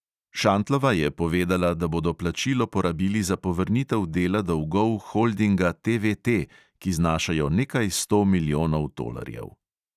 Šantlova je povedala, da bodo plačilo porabili za povrnitev dela dolgov holdinga TVT, ki znašajo nekaj sto milijonov tolarjev.